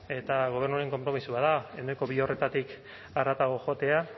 eta gobernuaren konpromisoa da ehuneko bi horretatik harago joatea